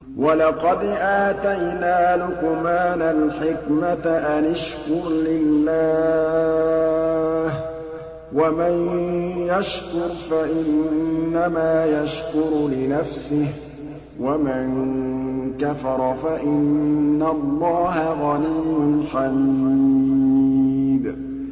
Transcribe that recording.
وَلَقَدْ آتَيْنَا لُقْمَانَ الْحِكْمَةَ أَنِ اشْكُرْ لِلَّهِ ۚ وَمَن يَشْكُرْ فَإِنَّمَا يَشْكُرُ لِنَفْسِهِ ۖ وَمَن كَفَرَ فَإِنَّ اللَّهَ غَنِيٌّ حَمِيدٌ